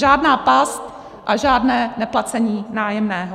Žádná past a žádné neplacení nájemného.